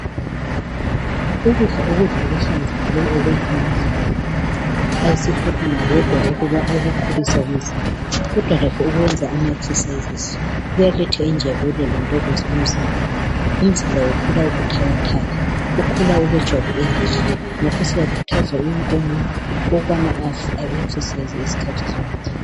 Ukudla ukudla okuhlanzekileyo okwakha umzimba akusikho khona kodwa okukhulisa umzimba kodwa lakho ukuzelula kuyaletha injabulo lentokozo emzimbeni. Umzimba ukhula ubuthakathaka. Ukhula ulejwabu elihle. Ngakho siyakhuthaza wonke umuntu ukubana azelule izikhathi zonke.